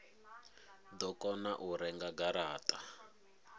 do kona u renga garata